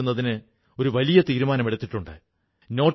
ആർക്കും രണ്ടാഴ്ചത്തേക്ക് പുസ്തകം എടുത്തുകൊണ്ടുപോകാം